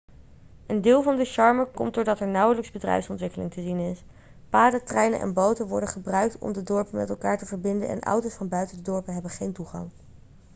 een deel van de charme komt doordat er nauwelijks bedrijfsontwikkeling te zien is paden treinen en boten worden gebruikt om de dorpen met elkaar te verbinden en auto's van buiten de dorpen hebben geen toegang